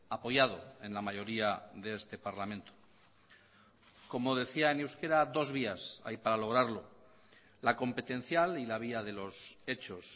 apoyado en la mayoría de este parlamento como decía en euskera dos vías hay para lograrlo la competencial y la vía de los hechos